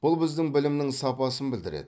бұл біздің білімнің сапасын білдіреді